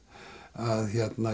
að